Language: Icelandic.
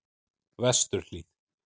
Vesturhlíð